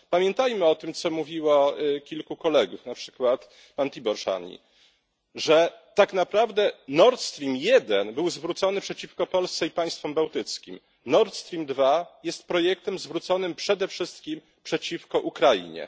Pamiętajmy o tym, co mówiło kilku kolegów, na przykład pan Tibor Szanyi Nord Stream I był zwrócony przeciwko Polsce i państwom bałtyckim, Nord Stream II jest projektem zwróconym przede wszystkim przeciwko Ukrainie.